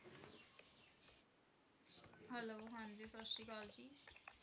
Hello ਹਾਂਜੀ ਸਤਿ ਸ੍ਰੀ ਅਕਾਲ ਜੀ